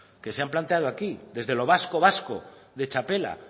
que se han planteado aquí desde los vasco vasco de txapela